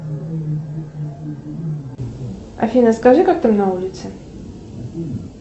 афина скажи как там на улице